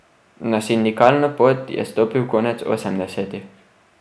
Na sindikalno pot je stopil konec osemdesetih.